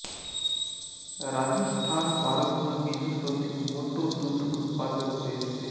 રાજસ્થાન ભારતનું બીજું સૌથી મોટું દૂધ ઉત્પાદક દેશ છે